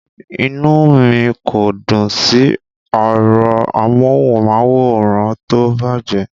Inú mi kò dùn sí ẹ̀rọ amóhùnmáwòrán tó bàjẹ́.